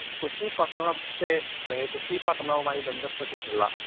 speaker 1 Kochi പട്ടണത്തെ അല്ലെങ്കിൽ കൊച്ചി പട്ടണവുമായി ബന്ധപ്പെട്ടിട്ടുള്ള